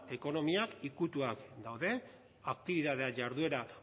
ekonomiak ikutuak daude aktibitate jarduera